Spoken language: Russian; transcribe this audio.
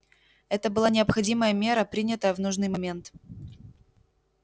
это была необходимая мера принятая в нужный момент